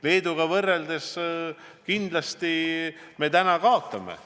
Leeduga võrreldes kindlasti me täna kaotame.